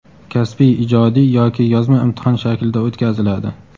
kasbiy (ijodiy) yoki yozma imtihon shaklida o‘tkaziladi.